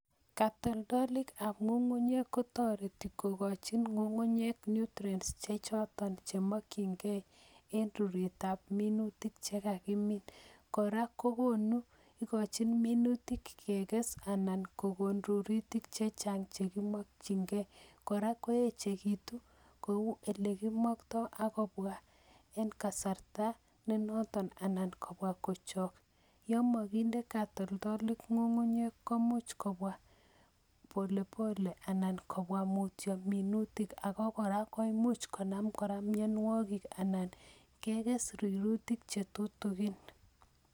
Katoltolik ab ngungunyek kotoretii kokonchin ngungunyek nutrients choton chemokyingei eng ruretab minutik Che kakimiin, kora kokochin minutia kekes rurutik chechang chekimokyingei. Kora koechekitun kou ele kimoktoo ak kobwa eng kasarta nenoton anan kobwa kochok, yomo kinde katoltolik ngungunyek komuch kobwa mutyo minutia ak kora koimuch konam mionwogik ak kekes rurutik chetutigin